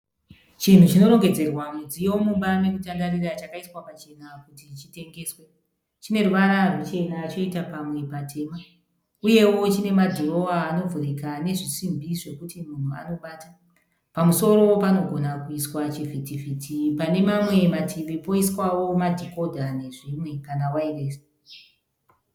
Chinhu chinorengedzerwa mudziyo mumba mekutandarira chakaiswa pachena kuti chitengeswe. Chineruvara ruchena choita pamwe patema. Uyewo chinemadhirowa anovhurika nezvisimbi zvekuti munhu anobata. Pamusoro panogona kuiswa chivhitivhiti. Pane mamwe mativi poiswawo madhekodha nezvimwe kana wayiresi.